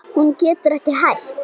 Hún getur ekki hætt.